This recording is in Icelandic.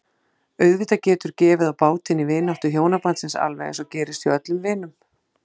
Auðvitað getur gefið á bátinn í vináttu hjónabandsins alveg eins og gerist hjá öllum vinum.